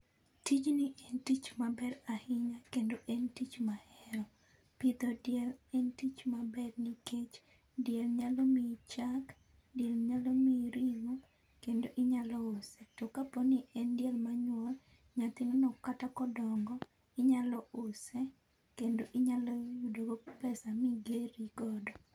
tijni en tich maber ahinya kendo en tich mahero. pidho diel en tich maber nikech diel nyalo mii chak , diel nyalo mii ringo kendo inyalo use to kaponi en diel manyuol nyathine no kata kodongo inyalo use kendo inyalo yudo go pesa migerri godo